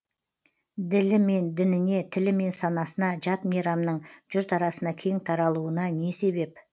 ділі мен дініне тілі мен санасына жат мейрамның жұрт арасына кең таралуына не себеп